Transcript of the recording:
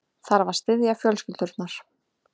Þarf að styðja fjölskyldurnar